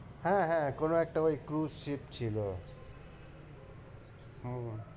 হ্যাঁ, হ্যাঁ কোনো একটা ওই cruise ship ছিল উম